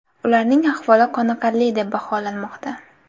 Ularning ahvoli qoniqarli deb baholanmoqda.